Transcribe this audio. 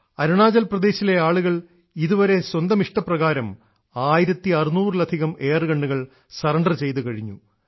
അരുണാചൽ പ്രദേശിലെ ആളുകൾ ഇതുവരെ സ്വന്തം ഇഷ്ടപ്രകാരം 1600 ലധികം എയർ ഗണ്ണുകൾ സറണ്ടർ ചെയ്തു കഴിഞ്ഞു